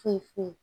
Foyi foyi